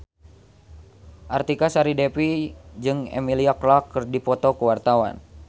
Artika Sari Devi jeung Emilia Clarke keur dipoto ku wartawan